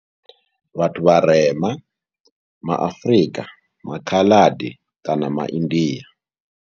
Vhathu vharema ma Afrika, ma Khaladi kana maIndia.